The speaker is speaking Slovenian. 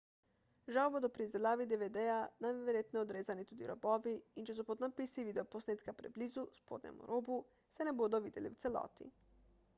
žal bodo pri izdelavi dvd-ja najverjetneje odrezani tudi robovi in če so podnapisi videoposnetka preblizu spodnjemu robu se ne bodo videli v celoti